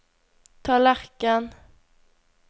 tallerken